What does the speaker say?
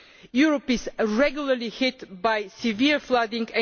Europe is regularly hit by severe flooding